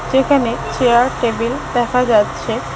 সেখানে chair table দেখা যাচ্ছে।